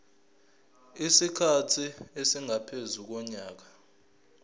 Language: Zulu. isikhathi esingaphezu konyaka